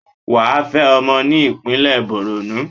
Wà á fẹ́ ọmọ ní ìpínlẹ̀ Bọ̀rọ̀nú.